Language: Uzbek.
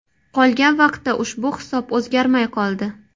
Qolgan vaqtda ushbu hisob o‘zgarmay qoldi.